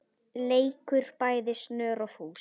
leikur bæði snör og fús.